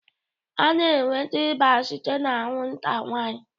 A na-enweta ịba site na anwụnta nwanyị